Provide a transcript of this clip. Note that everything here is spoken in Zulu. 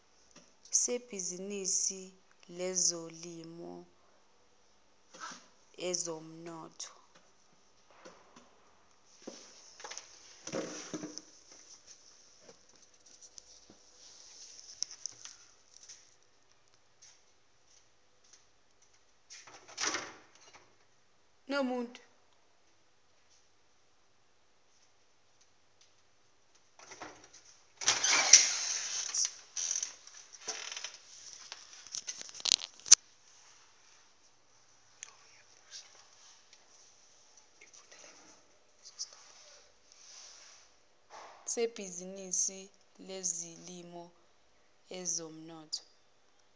sebhizinisi lezolimo ezomnotho